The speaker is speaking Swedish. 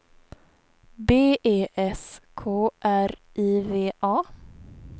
B E S K R I V A